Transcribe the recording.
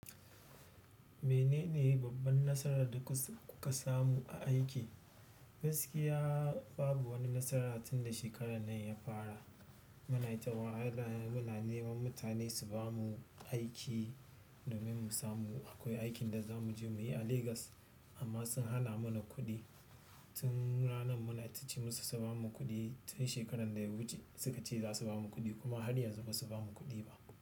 Menene babban nasarar da kuka samu a aiki? Gaskiya babu wani nasara tunda shekarar nan ya fara. Muna ta wahala muna neman mutane su bamu aiki domin mu samu akwai aikin da za mu je muyi a Lagos amma sun hana mana kuɗi. Tun ranar muna ta ce musu su bamu kuɗi tun shekarar da ya wuce suka ce za su bamu kuɗi kuma har yanzu ba su bamu kuɗi ba.